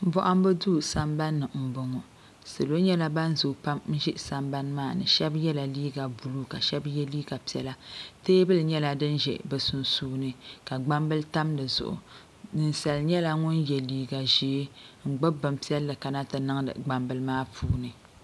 Bohambu duu sambani m boŋɔ salo nyɛla ban zoo pam n ʒi sambani maani sheba yela liiga buluu ka shebaye liiga piɛla teebuli nyɛla din ʒe bɛ sunsuuni ka gbambili tam dizuɣu ninsala nyɛla ŋun ye liiga ʒee n gbibi bob'piɛlli ti mali niŋdi gbambili maa puuni.